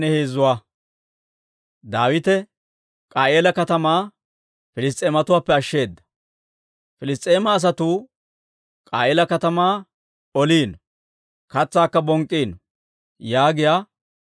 «Piliss's'eema asatuu K'a'iila katamaa oliino; katsaakka bonk'k'iino» yaagiyaa oduwaa Daawite siseedda.